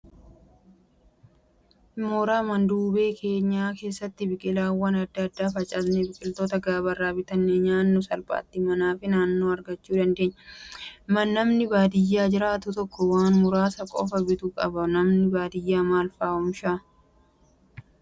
Mooraa manduubee keenya keessatti biqilaawwan adda addaa facaasnee biqiloota gabaarraa bitannee nyaannu salphaatti manaa fi naannoodhaa argachuu dandeenya. Namni baadiyyaa jiraatu tokko waan muraasa qofa bituu qaba. Namni baadiyyaa maal fa'aa oomishaa?